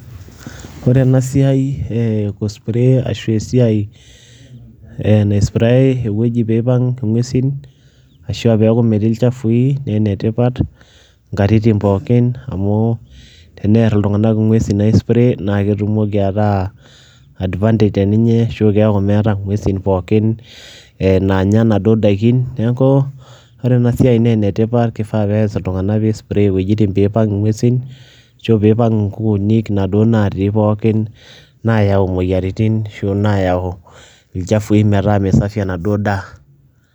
Ore ena siai aa ee kuspray ashu esiai e naispray ewueji pee ipang' ng'uesin ashu a peeku metii ilchafui nee ene tipat nkatitin pookin amu teneer iltung'anak ng'uesin aispray, naake etumoki ataa advantage teninye ashu keeku meeta ng'uesin pookin naanya naduo daikin. Neeku ore ena siai nee ene tipat kifaa pees iltung'anak piispray iwuejitin piipang' ing'uesin ashu piipang' nkukuunik naduo natii pookin nayua imoyiaritin ashu nayau ilchafui metaa mee safi ena duo daa.